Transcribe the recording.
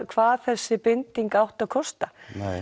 hvað þessi binding átti að kosta